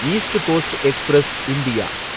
east coast express India